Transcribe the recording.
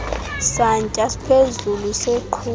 santya siphezulu beqhuba